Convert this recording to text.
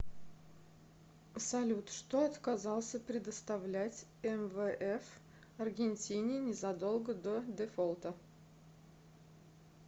салют что отказался предоставлять мвф аргентине незадолго до дефолта